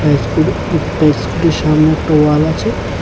স্কুটির সামনে একটা ওয়াল আছে।